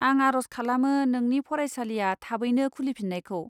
आं आरज खालामो नोंनि फरायसालिया थाबैनो खुलिफिन्नायखौ।